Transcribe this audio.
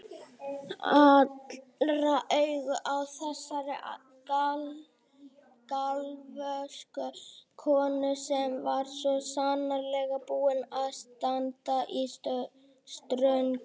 Allra augu á þessari galvösku konu sem var svo sannarlega búin að standa í ströngu.